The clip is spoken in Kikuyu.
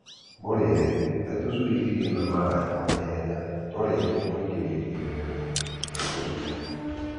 Mũrĩĩre. He tũcui irio na maaĩ o naihenya twarĩkia kũingĩrio irerero-inĩ rĩa tũcui.